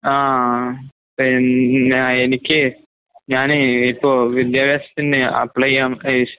ആഹ് പിന്നെയെനിക്ക് ഞാനേ ഇപ്പൊ വിദ്യാഭാസത്തിന്ന് അപ്ലൈചെയ്യാൻ ഏഷ്